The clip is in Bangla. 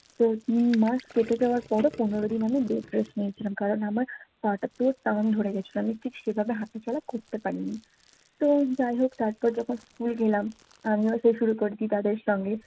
তো তিনমাস কেটে যাওয়ার পর ও পনেরো দিন আমি bed rest নিয়েছিলাম কারন আমার পা টা পুরো টান ধরে গেছিলো আমি ঠিক সে ভাবে হাটা চলা করতে পারি নি তো যাই হোক তারপর যখন স্কুল গেলাম আমিও সে শুরু করেছি তাদের সঙ্গে